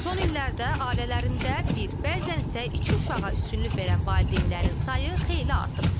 Son illərdə ailələrində bir, bəzənsə iki uşağa üstünlük verən valideynlərin sayı xeyli artıb.